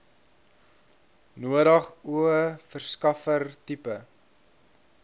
nodig o verskaffertipe